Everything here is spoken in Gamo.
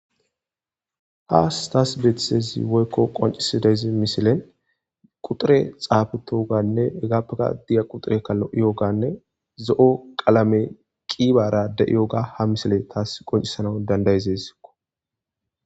ha staas beethitezi woykko qoncisi dayzi misilen quxure xaabetooganne egappeka diya quxureka lo7iyoganne zo7o qalame qiibara de7iyoga ha misile taas qoncisanau dandayizesikko